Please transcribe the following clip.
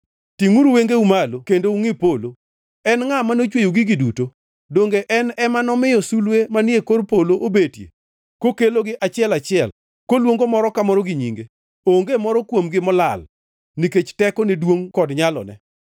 Tingʼuru wengeu malo kendo ungʼi polo: En ngʼa manochweyo gigi duto? Donge en ema nomiyo sulwe manie kor polo obetie kokelogi achiel kachiel, koluongo moro ka moro gi nyinge. Onge moro kuomgi molal nikech tekone duongʼ kod nyalone.